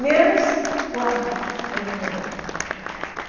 Menos o armário, ele não vendeu.